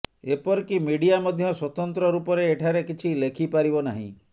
ଏପରିକି ମିଡିଆ ମଧ୍ୟ ସ୍ବତନ୍ତ୍ର ରୂପରେ ଏଠାରେ କିଛି ଲେଖିପାରିବ ନାହିଁ